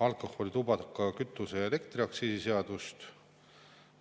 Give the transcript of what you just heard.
alkoholi‑, tubaka‑, kütuse‑ ja elektriaktsiisi seadust.